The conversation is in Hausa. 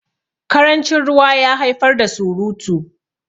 karancin ruwa ya haifar da surutu